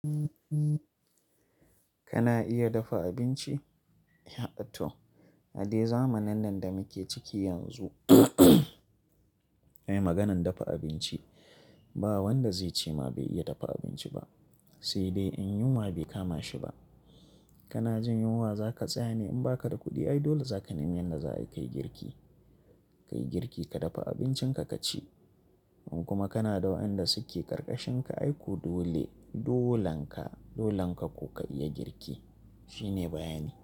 Kana iya dafa abinci? Eh to, a dai zamanin nan da muke ciki yanzu ai maganan dafa abinci ba wanda zai ce ma bai iya dafa abinci ba, sai dai in yunwa bai kama shi ba. Kana jin yunwa za ka tsane in ba ka da kuɗi ai dole za ka nemi yadda za a yi ka yi girki. Ka yi girki, ka dafa abincinka ka ci. In kuma kana da wayanda suke ƙarƙashinka aiko dole dolonka, dolonka ko ka iya girki shine bayani.